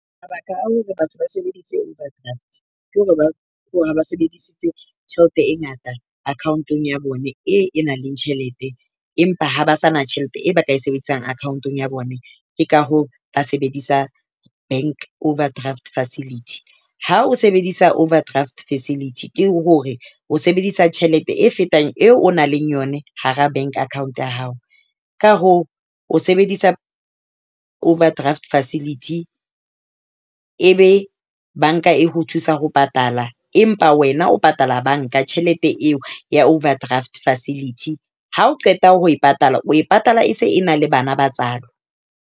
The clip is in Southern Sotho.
Mabaka a hore batho ba sebedise overdraft, ke hore ba sebedisitse tjhelete e ngata account-ong ya bone e nang le tjhelete, empa ha ba sa na tjhelete e ba ka e sebedisang account-ong ya bone . Ke ka hoo ba sebedisa bank overdraft facility. Ha o sebedisa overdraft facility ke hore o sebedisa tjhelete e fetang eo o na le yone hara bank account ya hao. Ka hoo o sebedisa overdraft facility, e be banka e ho thusa ho patala, empa wena o patala banka tjhelete eo ya overdraft facility. Ha o qeta ho e patala o e patala e se e na le bana ba tswalo .